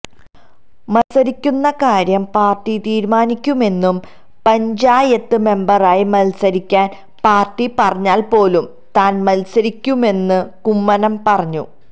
മത്സരിക്കുന്ന കാര്യം പാര്ട്ടി തീരുമാനിക്കുമെന്നും പഞ്ചായത്ത് മെമ്പറായി മത്സരിക്കാന് പാര്ട്ടി പറഞ്ഞാല് പോലും താന് മത്സരിക്കുമെന്നും കുമ്മനം പറഞ്ഞു